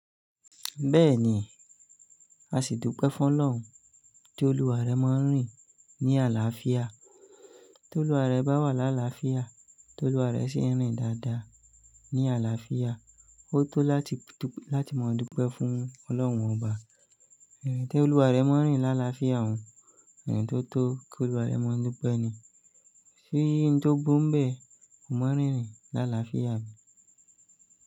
Bẹ́ẹ̀ni, a sì dúpẹ́ fún Ọlọ́run tí olúwa rẹ máa ń rìn ní àlàáfíà. Tí olúwa rẹ bá wà láàláàáfíà, tí olúwa rẹ sì ń rìn dáadáa ní àlàáfíà, ó tó láti, láti máa dúpẹ́ fún Ọlọ́run ọba. Irin tí olúwa rẹ máa ń rìn láàlàáfíà òun, irin tó tó kí olúwa rẹ máa dúpẹ́ ni. Ṣí yín tó gbó ḿbẹ̀, ko máa rìn rìn láàlàáfíà bí?